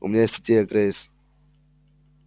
у меня есть идея грейс